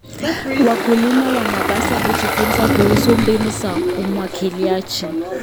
Wakulima wanapaswa kujifunza kuhusu mbinu za umwagiliaji.